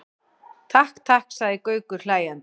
Takk, takk sagði Gaukur hlæjandi.